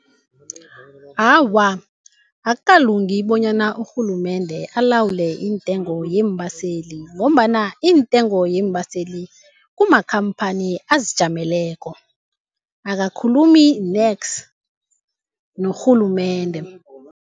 Awa, akukalungi bonyana urhulumende alawule iintengo yeembaseli, ngombana iintengo yeembaseli kumakhamphani azijameleko akakhulumi nex norhulumende.